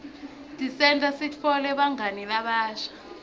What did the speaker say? tisenta sitfole bangani labasha